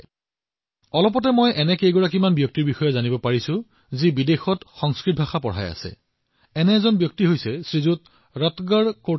শেহতীয়াকৈ মই বহুতো লোকৰ বিষয়ে জানিব পাৰিলোঁ যিসকলে বিদেশত সংস্কৃত শিকোৱাৰ অনুপ্ৰেৰণামূলক কাম কৰি আছে